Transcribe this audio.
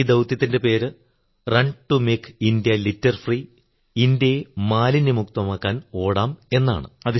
ഈ ദൌത്യത്തിന്റെ പേര് run to make India litter free ഇന്ത്യയെ മാലിന്യമുക്തമാക്കാൻ ഓടാം എന്നാണ്